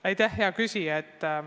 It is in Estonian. Aitäh, hea küsija!